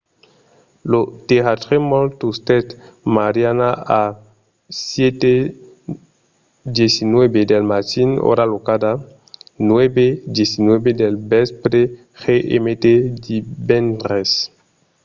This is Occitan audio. lo tèrratremol tustèt mariana a 7:19 del matin ora locala 9:19 del vèspre gmt divendres